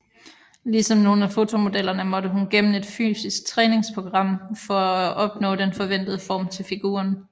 Ligesom nogle af fotomodellerne måtte hun gennem et fysisk træningsprogram for at opnå den forventede form til figuren